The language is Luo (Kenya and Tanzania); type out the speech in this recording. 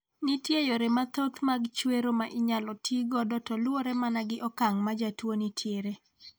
Nitiere yore mathoth mag chwero ma inyalo ti godo to luwore mana gi okang' ma jatuo ni tiere.